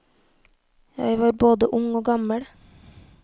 Jeg var både ung og gammel.